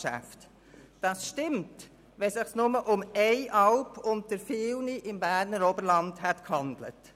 Das würde zutreffen, wenn es sich nur um eine Alp unter vielen im Berner Oberland handeln würde.